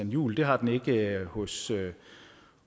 juhl det har den ikke hos